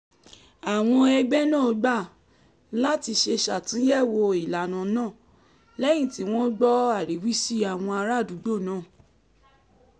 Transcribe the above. àwọn ẹgbẹ́ náà gbà láti ṣe ṣàtúnyẹ̀wò ìlànà náà lẹ́yìn tí wọ́n gbọ́ ariwisi àwọn ará àdúgbò naa